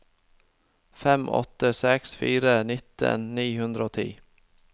fem åtte seks fire nittien ni hundre og ti